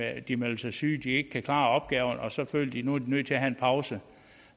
at de melder sig syge at de ikke kan klare opgaverne og så føler de nødt til at have en pause